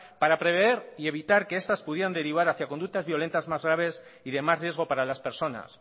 para prever y evitar que estas pudieran derivar hacia conductas violentas más graves y de más riesgo para las personas